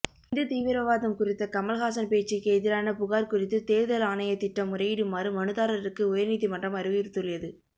இந்து தீவிரவாதம் குறித்த் கமல்ஹாசன் பேச்சுக்கு எதிரான புகார் குறித்து தேர்தல் ஆணையத்திடம் முறையிடுமாறு மனுதாரருக்கு உயர்நீதிமன்றம் அறிவுறுத்தியுள்ளது